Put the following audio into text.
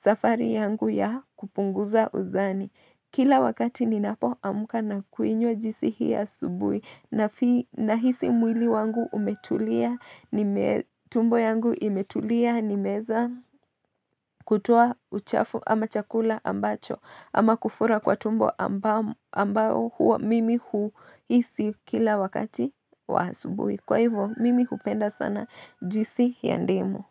safari yangu ya kupunguza uzani Kila wakati ninapo amuka na kuinywa juisi hii ya subui na Nahisi mwili wangu umetulia nime tumbo yangu imetulia nimeza kutoa uchafu ama chakula ambacho ama kufura kwa tumbo ambao mimi huisi kila wakati wa asubuhi Kwa hivyo, mimi hupenda sana juisi ya ndimu.